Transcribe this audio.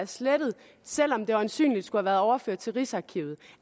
slettet selv om det øjensynligt skulle have været overført til rigsarkivet